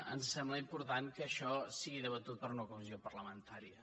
ens sembla important que això sigui debatut per una comissió parlamentària